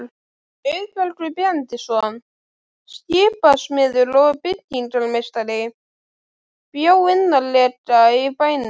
Auðbergur Benediktsson, skipasmiður og byggingarmeistari, bjó innarlega í bænum.